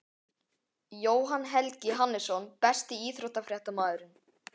jóhann helgi hannesson Besti íþróttafréttamaðurinn?